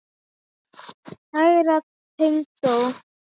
Kæra tengdó.